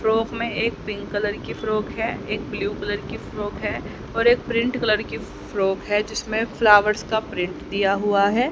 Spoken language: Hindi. फ्रॉक में एक पिंक कलर की फ्रॉक है एक ब्लू कलर की फ्रॉक है और एक प्रिंट कलर की फ्रॉक है जिसमें फ्लावर्स का प्रिंट दिया हुआ है।